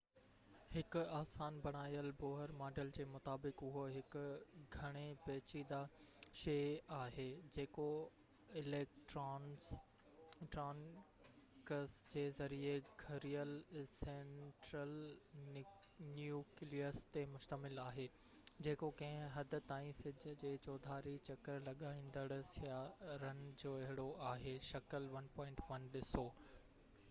هڪ آسان بڻايل بوهر ماڊل جي مطابق اهو هڪ گهڻي پيچيدہ شئي آهي جيڪو اليڪٽرانڪس جي ذريعي گهيريل سينٽرل نيوڪليس تي مشتمل آهي جيڪو ڪنهن حد تائين سج جي چوڌاري چڪر لڳائيندڙ سيارن جهڙو آهي شڪل 1.1 ڏسو